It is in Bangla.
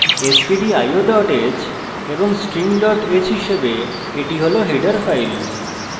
stdio h এবং string h হিসেবে এটি হল header files